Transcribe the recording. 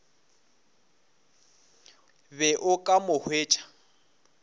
be o ka mo hwetša